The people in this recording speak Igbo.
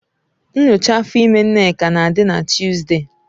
Nyocha afọ ime Nneka na-adị na Tọzdee.